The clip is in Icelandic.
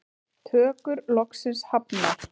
Tökur loksins hafnar